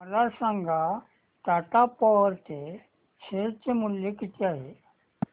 मला सांगा टाटा पॉवर चे शेअर मूल्य किती आहे